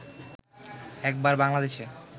একবার বাংলাদেশ